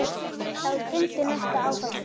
Þá dundi næsta áfall yfir.